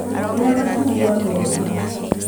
Rĩa macungwa merĩ